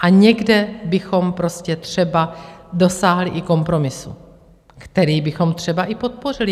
A někde bychom prostě třeba dosáhli i kompromisu, který bychom třeba i podpořili.